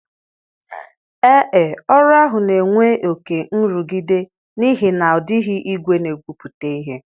Ee e, ọrụ ahụ na-enwe oke nrụgide n'ihi na ọ dịghị igwe na-egwupụta ihe